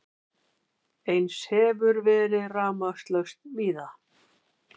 Eins hefur verið rafmagnslaust víða